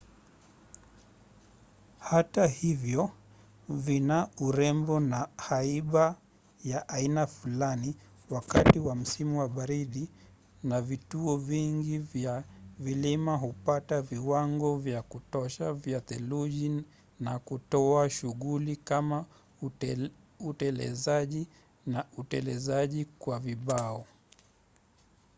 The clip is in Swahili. hata hivyo vina urembo na haiba ya aina fulani wakati wa msimu wa baridi na vituo vingi vya vilima hupata viwango vya kutosha vya theluji na kutoa shughuli kama utelezaji na utelezaji kwa vibao